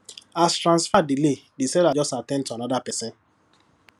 as transfer delay the seller just at ten d to another person